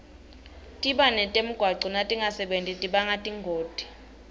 tibane temgwaco natingasebenti tibanga tingoti